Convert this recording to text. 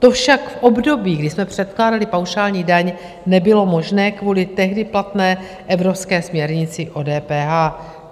To však v období, kdy jsme předkládali paušální daň, nebylo možné kvůli tehdy platné evropské směrnici o DPH.